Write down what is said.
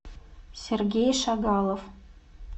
сергей шагалов